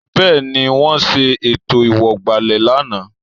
Bẹ́ẹ̀ni, wọ́n ṣe ètò ìwọ̀gbàlẹ̀ lánàá